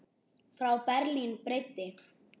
Frá Berlín breiddi